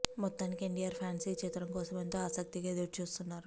మొత్తానికి ఎన్టీఆర్ ఫ్యాన్స్ ఈ చిత్రం కోసం ఎంతో ఆసక్తిగా ఎదురుచూస్తున్నారు